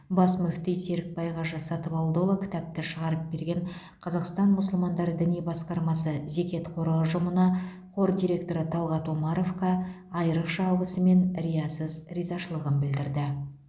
бас мүфти серікбай қажы сатыбалдыұлы кітапты шығарып берген қазақстан мұсылмандар діни басқармасы зекет қоры ұжымына қор директоры талғат омаровқа айрықша алғысы мен риясыз ризашылығын білдірді